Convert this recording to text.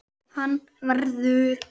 Hann verður.